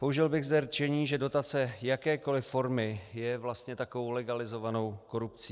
Použil bych zde rčení, že dotace jakékoliv formy je vlastně takovou legalizovanou korupcí.